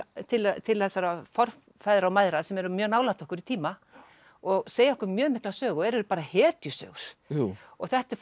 til til þessara forfeðra og mæðra sem eru mjög nálægt okkur í tíma og segja okkur mjög mikla sögu og eru bara hetjusögur þetta er fólk